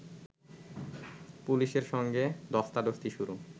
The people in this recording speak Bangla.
পুলিশের সঙ্গে ধস্তাধস্তি শুরু